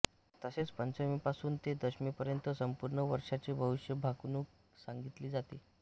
तसेच पंचमीपासून ते दशमीपर्यत संपूर्ण वर्षाचे भविष्य भाकणूक सांगितले जाते